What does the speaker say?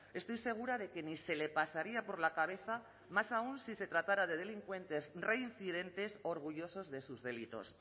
estoy segura de que ni se le pasaría por la cabeza más aún si se tratara de delincuentes reincidentes orgullosos de sus delitos